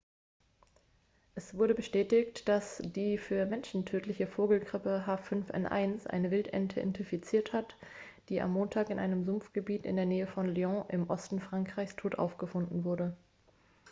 es wurde bestätigt dass die für menschen tödliche vogelgrippe h5n1 eine wildente infiziert hat die am montag in einem sumpfgebiet in der nähe von lyon im osten frankreichs tot aufgefunden wurde